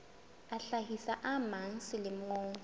a hlahisa a mang selemo